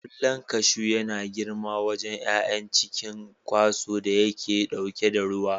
Ƙwallon kashu yana girma a wajen ƴaƴan a cikin ƙwanso da yake ɗauke da ruwa.